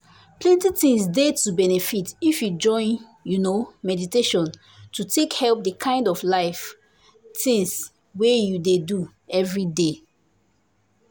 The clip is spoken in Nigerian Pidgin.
plenty things dey to benefit if you join you know meditation to take help the kind of life things wey you dey do everyday.